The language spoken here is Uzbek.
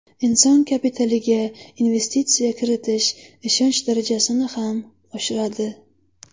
Inson kapitaliga investitsiya kiritish ishonch darajasini ham oshiradi.